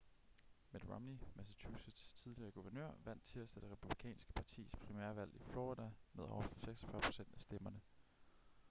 mitt romney massachusetts' tidligere guvernør vandt tirsdag det republikanske partis primærvalg i florida med over 46 procent af stemmerne